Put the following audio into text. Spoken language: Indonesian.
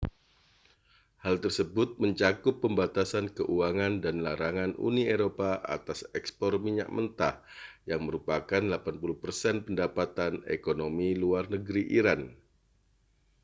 hal tersebut mencakup pembatasan keuangan dan larangan uni eropa atas ekspor minyak mentah yang merupakan 80% pendapatan ekonomi luar negeri iran